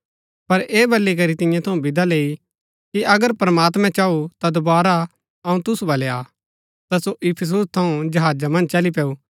पर ऐह वलीकरी तियां थऊँ विदा लैई कि अगर प्रमात्मैं चाऊ ता दोवारा अऊँ तुसु वलै आ ता सो इफिसुस थऊँ जहाजा मन्ज चली पैऊ